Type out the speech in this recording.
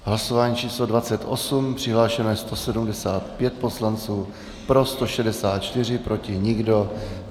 Hlasování číslo 28, přihlášeno je 175 poslanců, pro 164, proti nikdo.